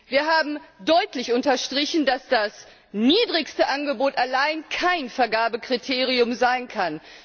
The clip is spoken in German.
Wir haben deutlich unterstrichen, dass das niedrigste Angebot allein kein Vergabekriterium sein kann.